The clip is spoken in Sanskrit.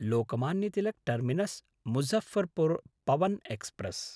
लोकमान्य तिलक् टर्मिनस्–मुजफ्फरपुर् पवन् एक्स्प्रेस्